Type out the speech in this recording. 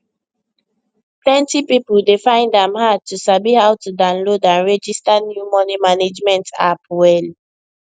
plenty people dey find am hard to sabi how to download and register new money management app well